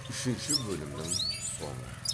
үшінші бөлімнің соңы